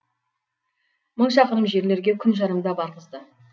мың шақырым жерлерге күн жарымда барғызды